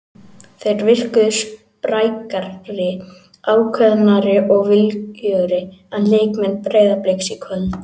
Þeir virkuðu sprækari, ákveðnari og viljugri en leikmenn Breiðabliks í kvöld.